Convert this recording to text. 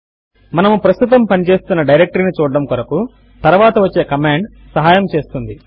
మనము ప్రస్తుతము పని చేస్తున్న డైరెక్టరీ ను చూడడము కొరకు తరువాత వచ్చే కమాండ్ సహాయము చేస్తుంది